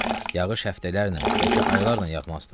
Yağış həftələrlə, bəlkə aylarla yağmazdı.